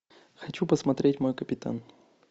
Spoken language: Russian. хочу посмотреть мой капитан